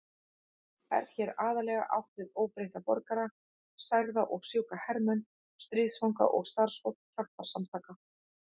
Er hér aðallega átt við óbreytta borgara, særða og sjúka hermenn, stríðsfanga og starfsfólk hjálparsamtaka.